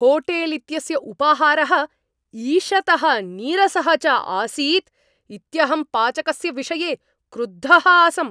Hotel इत्यस्य उपाहारः ईषतः नीरसः च आसीत् इत्यहं पाचकस्य विषये क्रुद्धः आसम्।